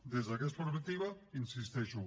des d’aquesta perspectiva hi insisteixo